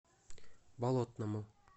болотному